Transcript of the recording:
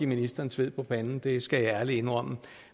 ministeren sved på panden det skal jeg ærligt indrømme